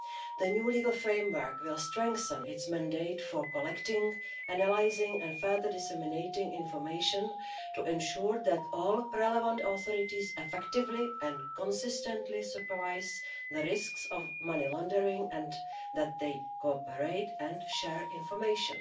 The new legal framework will strengthen its mandate for collecting, analysing and further disseminating information to ensure that all relevant authorities effectively and consistently supervise the risks of money laundering and that they cooperate and share information.